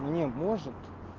не может